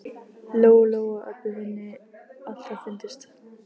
Lóu Lóu og Öbbu hinni alltaf fundist.